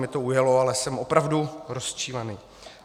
Mně to ujelo, ale jsem opravdu rozčilený.